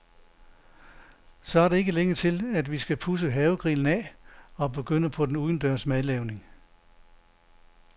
Så er der ikke længe til, at vi skal pudse havegrillen af og begynde på den udendørs madlavning.